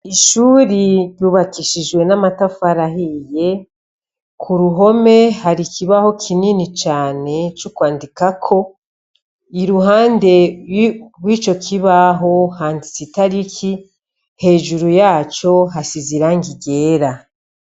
Ishure ryubakishijwe n'amatafari ahiye, ku ruhome hari ikibaho kinini cane co kwandikako, iruhande rw'ico kibaho handitse itariki hejuru yaco hasize irangi ryera.